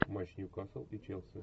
матч ньюкасл и челси